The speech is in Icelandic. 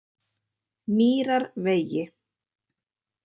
Mýrarvegi